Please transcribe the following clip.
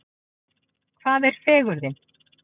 Hvað er fegurðin?